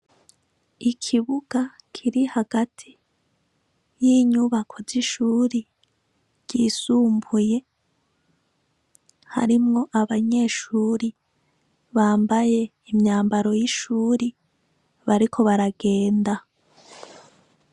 Ikibuga Kiri hagati y' inyubako zishuri ryisumbuye, harimwo abanyeshuri bambaye imyambaro y' ishuri, bariko baragenda.